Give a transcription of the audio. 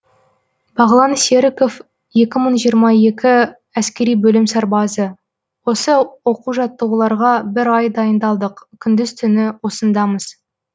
бағлан серіков екі мың жиырма екі әскери бөлім сарбазы осы оқу жаттығуларға бір ай дайындалдық күндіз түні осындамыз